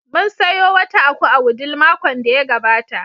Mun sayo wata aku a Wudil makon da ya gabata.